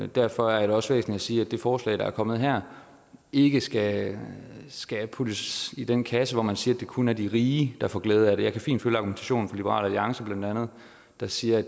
derfor er det også væsentligt at sige at det forslag der er kommet her ikke skal skal puttes i den kasse hvor man siger det kun er de rige der får glæde af det jeg kan fint følge argumentationen liberal alliance der siger at